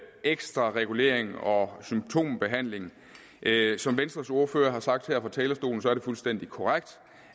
ekstra regulering og symptombehandling som venstres ordfører har sagt her fra talerstolen er det fuldstændig korrekt